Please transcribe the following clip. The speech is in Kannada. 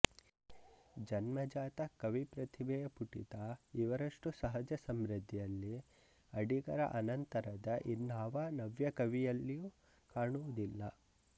ಜನ್ಮಜಾತ ಕವಿಪ್ರತಿಭೆಯ ಪುಟಿತ ಇವರಷ್ಟು ಸಹಜ ಸಮೃದ್ಧಿಯಲ್ಲಿ ಅಡಿಗರ ಅನಂತರದ ಇನ್ನಾವ ನವ್ಯಕವಿಯಲ್ಲಿಯೂ ಕಾಣುವುದಿಲ್ಲ